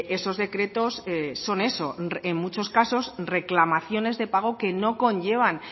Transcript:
esos decretos son eso en muchos casos reclamaciones de pago que no conllevan